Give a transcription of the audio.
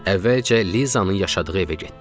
Əvvəlcə Lizanın yaşadığı evə getdik.